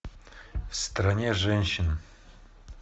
в стране женщин